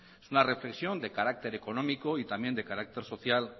es una reflexión de carácter económico y también de carácter social